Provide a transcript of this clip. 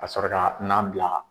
Ka sɔrɔ ka nan bila